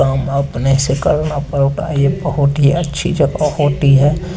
काम अपने सिका अपने टायर अकोटी अच्छा होती है।